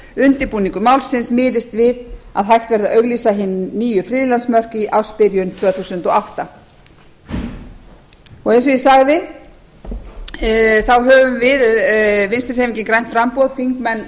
undirbúningur málsins miðist við hægt verði að auglýsa hin nýju friðlandsmörk í ársbyrjun tvö þúsund og átta eins og ég sagði þá höfum við þingmenn